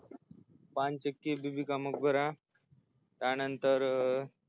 पानचक्की बिबी का मकबरा त्यानंतर